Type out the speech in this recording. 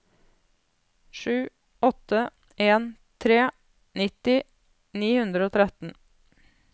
sju åtte en tre nitti ni hundre og tretten